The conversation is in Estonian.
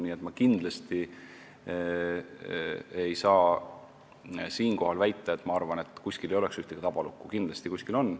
Nii et ma ei saa siinkohal väita, et kuskil ei ole ühtegi tabalukku, kindlasti kuskil on.